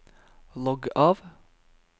logg av